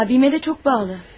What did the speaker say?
Abime de çok bağlı.